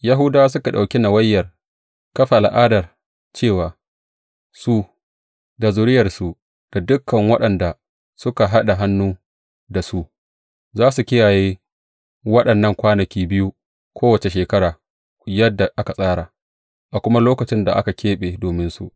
Yahudawa suka ɗauki nawayar kafa al’adar cewa su, da zuriyarsu, da dukan waɗanda suka haɗa hannun da su, za su kiyaye waɗannan kwanaki biyu, kowace shekara yadda aka tsara, a kuma lokacin da aka keɓe dominsu.